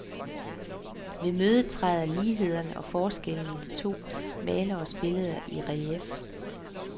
Ved mødet træder ligheder og forskelle i de to maleres billeder i relief.